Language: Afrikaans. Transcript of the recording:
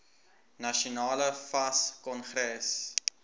nasionale fas kongres